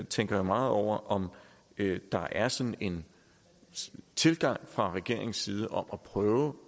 tænker meget over om der er sådan en tilgang fra regeringens side om at prøve